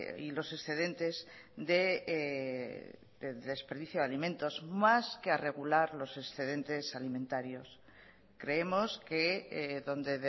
y los excedentes de desperdicio de alimentos más que a regular los excedentes alimentarios creemos que donde